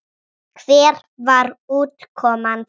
Hver var útkoman þar?